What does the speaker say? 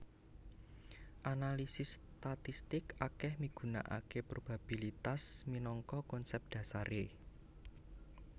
Analisis statistik akèh migunakaké probabilitas minangka konsep dhasaré